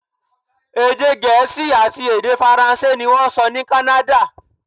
Èdè Gẹ̀ẹ́sì àti èdè Faransé ní wọ́n ń sọ ní Kánádà.